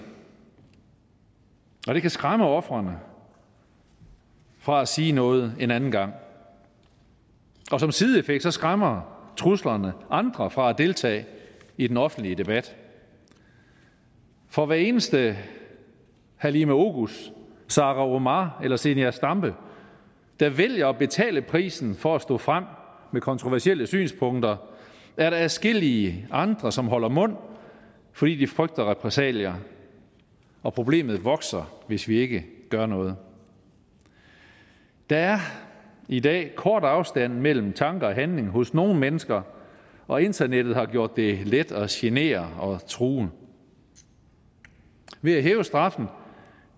og det kan skræmme ofrene fra at sige noget en anden gang og som sideeffekt skræmmer truslerne andre fra at deltage i den offentlige debat for hver eneste halime oguz sara omar eller zenia stampe der vælger at betale prisen for at stå frem med kontroversielle synspunkter er der adskillige andre som holder mund fordi de frygter repressalier og problemet vokser hvis vi ikke gør noget der er i dag en kort afstand mellem tanke og handling hos nogle mennesker og internettet har gjort det let at genere og true ved at hæve straffen